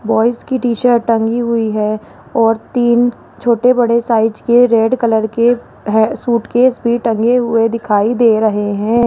Boys की T shirt टंगी हुई है और तीन छोटे बड़े साइज के रेड कलर के है सूटकेस भी टंगे हुए दिखाई दे रहे हैं।